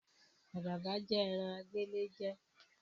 Àdàbà jẹ́ ẹ̀ran agbéléjẹ̀